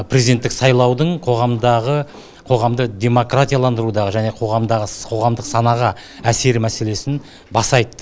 президенттік сайлаудың қоғамдағы қоғамды демократияландырудағы және қоғамдағы қоғамдық санаға әсері мәселесін баса айтты